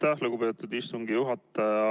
Aitäh, lugupeetud istungi juhataja!